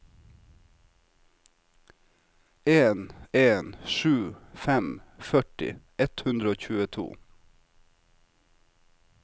en en sju fem førti ett hundre og tjueto